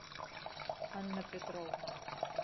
анна петровна